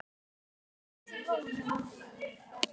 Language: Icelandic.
Alma Þöll.